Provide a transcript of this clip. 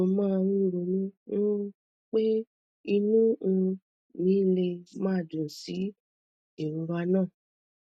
mo máa ń ronú um pé inú um mi lè má dùn sí ìrora náà